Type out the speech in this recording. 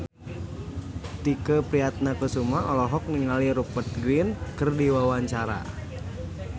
Tike Priatnakusuma olohok ningali Rupert Grin keur diwawancara